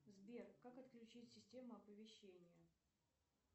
сбер как отключить систему оповещения